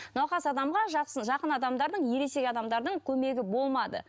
науқас адамға жақын адамдардың ересек адамдардың көмегі болмады